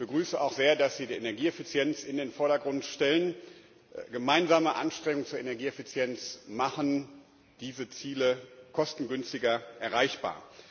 Ich begrüße auch sehr, dass Sie die Energieeffizienz in den Vordergrund stellen gemeinsame Anstrengungen zur Energieeffizienz machen diese Ziele kostengünstiger erreichbar.